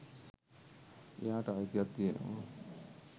එයාට අයිතියක් තියෙනවා.